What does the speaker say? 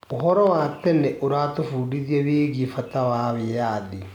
ũhoro wa tene ũratũbundithia wĩgiĩ bata wa wĩyathi.